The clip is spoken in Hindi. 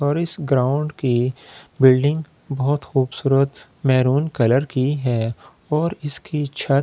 और इस ग्राउंड की बिल्डिंग बहुत खूबसूरत महरून कलर की है और इसकी छत --